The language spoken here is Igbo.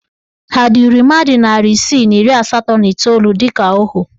Ha duru mmadụ narị isii na iri asatọ na iteolu dịka ohu?